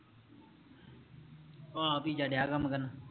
ਆਹ ਦਿਆ ਕੰਮ ਕਰਨ